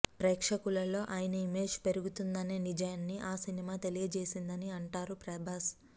ప్రేక్షకుల్లో ఆయన ఇమేజ్ పెరుగుతున్నదనే నిజాన్ని ఆ సినిమా తెలియజేసిందని అంటారు ప్రభాస్